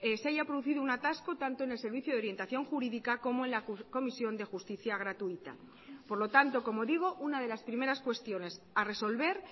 se haya producido un atasco tanto en el servicio de orientación jurídica como en la comisión de justicia gratuita por lo tanto como digo una de las primeras cuestiones a resolver